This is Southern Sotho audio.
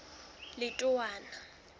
letowana